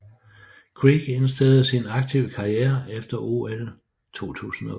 Kreek indstillede sin aktive karriere efter OL 2008